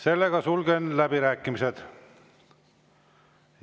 Küll aga 2026. aastal aktsiisitõus tuleb 5% + 5% ehk kokku 10%.